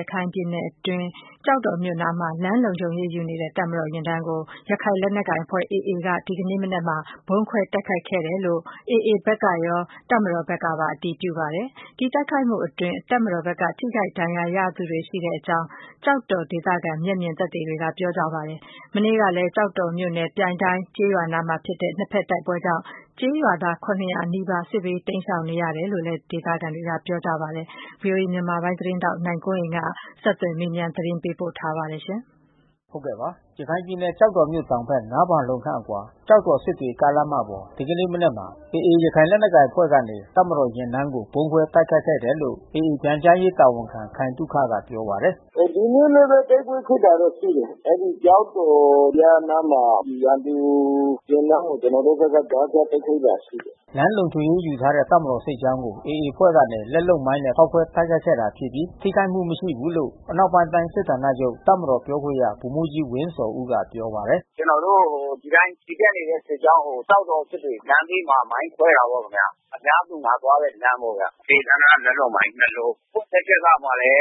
ရခိုင်ပြည်နယ်အတွင်း ကျောက်တော်မြို့အနားမှာ လမ်းလုံခြုံရေးယူနေတဲ့ မြန်မာ့ တပ်မတော်ယာဉ်တန်းကို ရခိုင်လက်နက်ကိုင် AA အဖွဲ့ကနေ ဒီကနေ့မနက်မှာ ဗုံးခွဲတိုက်ခိုက်ခဲ့တယ်လို့ AA တာဝန်ရှိသူ တွေနဲ့ တပ်မတော်တာဝန်ရှိသူတွေက အတည်ပြု ပြောဆိုပါတယ်။ ဒီတိုက်ခိုက်မှုမှာ တပ်မတော်ဘက်က ထိခိုက်မှုရှိခဲ့တယ်လို့လည်း ကျောက်တော် ဒေသခံမျက်မြင်တွေက ပြောပါတယ်။ မနေ့ကလည်း ကျောက်တော်မြို့နယ် ပြိုင်တိုင်းကျေးရွာ အနီးမှာ ဖြစ်ပွါးတဲ့ ၂ ဘက်တိုက်ပွဲကြောင့် ကျေးရွာသား နီးပါးစစ်ဘေးတိမ်းရှောင်နေရတယ်လို့လည်း ဒေသခံတွေက ပြောပါတယ်။ ဗွီအိုအေ မြန်မာပိုင်း သတင်းထောက်နိုင်ကွန်းအိန်ကနေ ဆက်သွယ်မေးပြန်း သတင်းပေးပို့ထားပါတယ်။ ရခိုင်ပြည်နယ် ကျောက်တော်မြို့တောင်ဘက် ၅ ဖါလုံခန့်အကွာ ကျောက်တော်-စစ်တွေ ကားလမ်းမပေါ် ဒီကနေ့မနက် မှာ AAရခိုင်လက်နက်ကိုင်အဖွဲ့ကနေ တပ်မတော်ယာဉ်တန်းကို ဗုံးခွဲတိုက်ခိုက်ခဲ့တယ်လို့ AA ပြန်ကြားရေးတာဝန်ခံ ခိုင်သုခက ပြောပါတယ်။ “ဒီနေ့လည်း တိုက်ပွဲဖြစ်ပွါးတာ ရှိတယ်။ အဲဒီကျောက်တော်ရဲ့ အနားမှာ ရန်သူယာဉ်တန်းကို ကျနော်တို့ဘက်က ကြားဖြတ် တိုက်ခိုက်တာရှိတယ်။” လမ်းလုံခြုံရေးယူနေတဲ့ တပ်မတော်စစ်ကြောင်းကို AA အဖွဲ့ကနေ လက်လုပ်မိုင်းနဲ့ ဖေါက်ခွဲ တိုက်ခိုက်ခဲ့တာဖြစ်ပြီး ထိခိုက်မှု မရှိဘူးလို့ အနောက်ပိုင်းတိုင်း စစ်ဌာနချုပ်တပ်မတော်ပြောခွင့်ရ ဗိုလ်မှူးကြီး ဝင်းဇော်ဦးက ပြောပါတယ်။ “ကျနော်တို့ ဒီအတိုင်း ချီတက်နေတဲ့ စစ်ကြောင်းကို ကျောက်တော် စစ်တွေလမ်းဘေးမှာ မိုင်းခွဲတာပေါ့ခင်ဗျာ။ အများ သူငါသွားတဲ့ လမ်းပေါ့ဗျာ။ ဒေသန္တရ လက်လုပ်မိုင်း လုံး။ ဘယ်သူ့ လက်ချက်ရမှာလည်း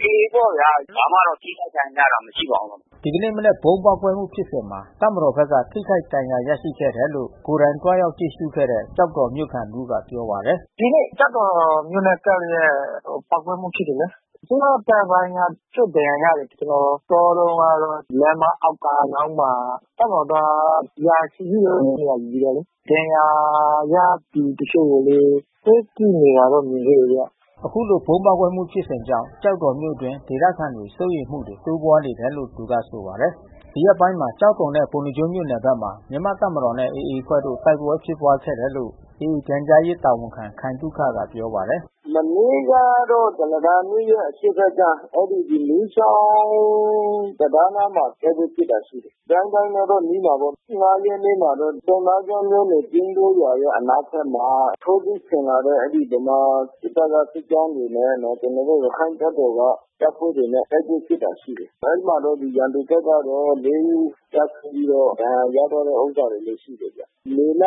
AA ပေါ့ဗျာ။ ဘာမှတော့ ထိခိုက် ဒဏ်ရာရတာမရှိပါဘူး။” ဒီကနေ့မနက် ဗုံးပေါက်ကွဲမှု ဖြစ်စဉ်မှာ မြန်မာစစ်တပ်ဘက်က ထိခိုက်ဒဏ်ရာ ရရှိခဲ့တယ်လို့ ကိုယ်တိုင်သွားရောက် ကြည့်ရှုခဲ့တဲ့ ကျောက်တော်မြို့ခံ တဦးက ပြောပါတယ်။ “ကျောက်တော်မြို့နဲ့ ကပ်လျှက်ပေါက်ကွဲမှု ဖြစ်တယ်လေ။ အစိုးရတပ်ပိုင်းက တချို့ဒဏ်ရာရတယ်။ ကျနော်သွားတုန်းကတော့ လမ်းမအောက်က မြောင်းမှာ တပ်မတော်သား ရာချီပြီး နေရာယူတယ်လေ။ ဒဏ်ရာ ရသူတချို့ကိုလည်း ဆေးကုတာကို မြင်ခဲ့တယ်ဗျ။” အခုလို ဗုံးပေါက်ကွဲမှုဖြစ်စဉ်ကြောင့် ကျောက်တော်မြို့တွင်း ဒေသခံတွေ စိုးရိမ်မှုတွေ ဖြစ်ပွါးနေတယ်လို့ သူကဆိုပါတယ်။ ဒီရက်ပိုင်းတွေမှာ ကျောက်တော်နဲ့ ပုဏ္ဏားကျွန်းမြို့နယ်ဘက်မှာ မြန်မာ့တပ်မတော်နဲ့ AA အဖွဲ့တို့ တိုက်ပွဲဖြစ်ပွါးခဲ့တယ် လို့ AA ပြန်ကြားရေးတာဝန်ခံ ခိုင်သုခက ပြောပါတယ်။ “မနေ့ကတော့ ကုလားတန်မြစ်ရဲ့ အရှေ့ဘက်က အဲဒီမီးချောင်းတံတားအနားမှာ တိုက်ပွဲဖြစ်တာ ရှိတယ်။ ပြိုင်တိုင်းနဲ့တော့ နီးတာပေါ့။ ရက်နေ့မှာတော့ ပုဏ္ဏားကျွန်းမြို့နယ် ပျဉ်တိုးရွာရဲ့ အနောက်ဘက်မှာ ထိုးစစ်ဆင်လာတဲ့ ဗမာစစ်တပ်က စစ်ကြောင်းတွေနဲ့ ကျနော်တို့ ရခိုင့်တပ်တော်က တပ်ဖွဲ့တွေနဲ့ တိုက်ပွဲဖြစ်တာ ရှိတယ်။ အဲဒီမှာပဲ ရန်သူဘက်ကတော့ ဦး ကျဆုံးပြီးတော့ ဒဏ်ရာရသွားတဲ့ ဥစ္စာတွေလည်း ရှိတယ်ဗျ။ မေလ ရ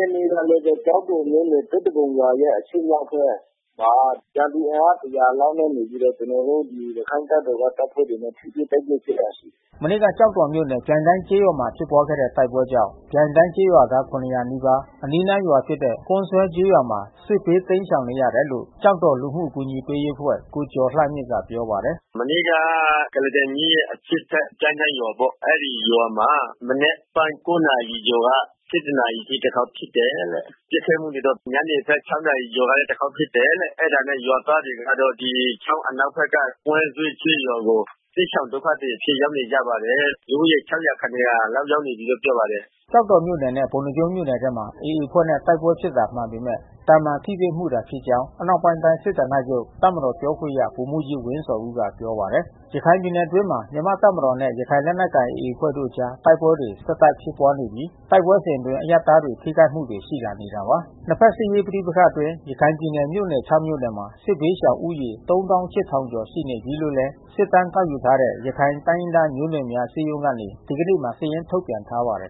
က်နေ့ကလည်းပဲ ကျောက်တော်မြို့နယ် သစ်တ ပုံရွာရဲ့ အရှေ့မြောက်ဘက်မှာ ရန်သူအင်အား လောက်နဲ့ နေပြီးတော့ ကျနော်တို့ ရခိုင့်တပ်တော်က တပ်ဖွဲ့တွေနဲ့ ထိတွေ့တိုက်ပွဲ ဖြစ်တယ်။” မနေ့ကကျောက်တော်မြို့နယ် ပြိုင်တိုင်းကျေးရွာမှာ ဖြစ်ပွါးတဲ့ တိုက်ပွဲကြောင့် ပြိုင်းတိုင်းကျေးရွာသား နီးပါး အနီးနားရွာဖြစ်တဲ့ ကွမ်းဇွဲကျေးရွာမှာ စစ်ဘေး တိမ်းရှောင်နေရတယ်လို့ ကျောက်တော် လူမှုအကူညီပေးရေးအဖွဲ့ ကိုကျော်လှမြင့်က ပြောပါတယ်။ “မနေ့ကကုလားတန်မြစ်ရဲ့အရှေ့ဘက် ပြိုင်တိုင်းရွာပေါ့။ အဲဒီရွာမှာ မနက်ပိုင်း နာရီကျော်က နာရီအထိ တခေါက် ဖြစ်တယ်။ ပစ်ခတ်မှုတွေတော့ ညနေပိုင်း နာရီကလည်းတခေါက် ဖြစ်တယ်တဲ့။ အဲတာနဲ့ ရွာသားတွေကတော့ ဒီချောင်းအ နောက်ဘက်က ကွမ်းဇွဲကျေးရွာကို စစ်ရှောင်ဒုက္ခသည်အဖြစ် ရောက်နေကြပါတယ်။ လူဦးရေ ရောက်နေကြပြီးလို့ ပြောပါတယ်။” ကျောက်တော်မြို့နယ်နဲ့ ပုဏ္ဏားကျွန်းမြို့နယ်မှာ AA အဖွဲ့နဲ့ တိုက်ပွဲဖြစ်တာ မှန်ပေမဲ့ သာမန် ထိတွေ့မှုတာဖြစ်ကြောင်း အနောက်ပိုင်းတိုင်း စစ်ဌာနချုပ်တပ်မတော် ပြောခွင့်ရ ဗိုလ်မှူးကြီးဝင်းဇော်ဦးက ပြောပါတယ်။ ရခိုင်ပြည်နယ်အတွင်းမှာ မြန်မာ့တပ်မတော်နဲ့ ရခိုင်လက်နက်ကိုင် AA အဖွဲ့တို့အကြား တိုက်ပွဲတွေ ဆက်တိုက်ဖြစ်ပွါးနေပြီး တိုက်ပွဲစဉ်အတွင်း အရပ်သားတွေ ထိခိုက်မှုတွေ ရှိလာနေတာပါ။ နှစ်ဘက်စစ်ရေး ပဋိပက္ခအတွင်း ရခိုင်ပြည်နယ်မြို့နယ် မြို့နယ်မှာ စစ်ဘေးရှောင်ဦးရေ ရှိနေပြီးလို့လည်း စစ်တမ်းကောက်ယူထားတဲ့ ရခိုင်တိုင်းရင်းသား မျိုးနွယ်များ အစည်းအရုံးကနေ ဒီကနေ့မှာ စာရင်း ထုတ်ပြန်ထားပါတယ်